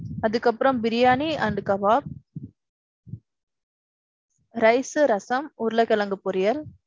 அதுக்கு அப்பறோம் biryani and kabab. Rice ரசம், உருள கிழங்கு பொரியல்.